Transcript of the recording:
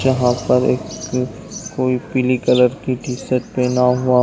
यहाँ पर एक कोई पीली कलर की टी शर्ट पहना है।